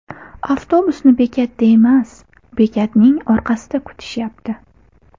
Avtobusni bekatda emas, bekatning orqasida kutishyapti.